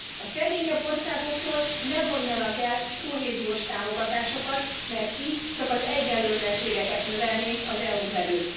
A szegényebb országoktól ne vonjanak el kohéziós támogatásokat, mert így csak az egyenlőtlenségeket növelnénk az EU n belül.